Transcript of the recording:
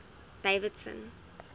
davidson